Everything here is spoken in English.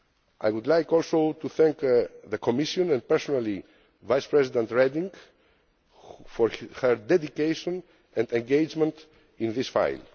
I would like also to thank the Commission and, personally, Vice President Reding for her dedication and engagement in this